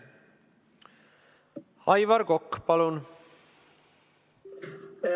Aivar Kokk, palun!